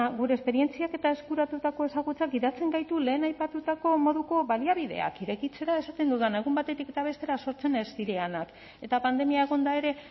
gure esperientziak eta eskuratutako ezagutzak gidatzen gaitu lehen aipatutako moduko baliabideak irekitzera esaten dudana egun batetik bestera sortzen ez direnak eta pandemia egonda ere